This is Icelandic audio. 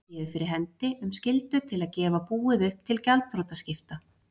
séu fyrir hendi um skyldu til að gefa búið upp til gjaldþrotaskipta.